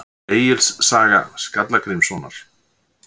Egils saga Skalla-Grímssonar.